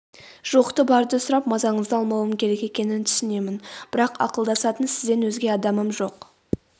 жоқты-барды сұрап мазаңызды алмауым керек екенін түсінемін бірақ ақылдасатын сізден өзге адамым жоқ